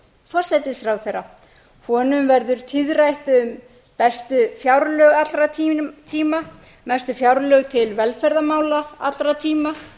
forsætisráðherra honum verður tíðrætt um bestu fjárlög allra tíma mestu framlög til velferðarmála allra tíma